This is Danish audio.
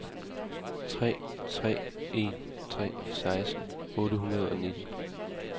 tre tre en tre seksten otte hundrede og nitten